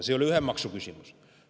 See ei ole ühe maksu küsimus.